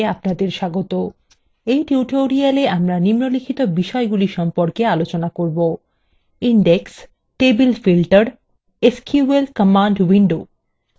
in tutorialwe আমরা নিম্নলিখিত বিষয়গুলি সম্পর্কে আলোচনা করব